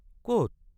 কত?